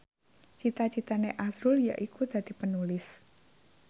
cita citane azrul yaiku dadi Penulis